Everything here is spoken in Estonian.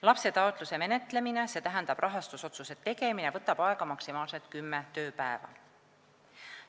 Lapse taotluse menetlemine, st rahastusotsuse tegemine, võtab aega maksimaalselt kümme tööpäeva.